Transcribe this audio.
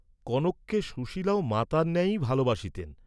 কনককে সুশীলাও মাতার ন্যায়ই ভালবাসিতেন।